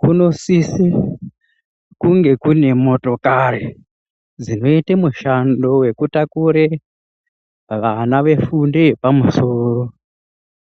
Kunosisa kunge kune motokari dzinoita mishando wekutakura vana vefundo yepamusoro